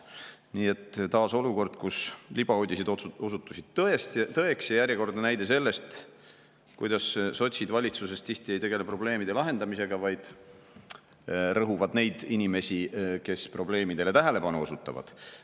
Nii et taas olukord, kus libauudised osutusid tõeks, ja järjekordne näide sellest, et sotsid valitsuses tihti ei tegele probleemide lahendamisega, vaid rõhuvad neid inimesi, kes probleemidele tähelepanu osutavad.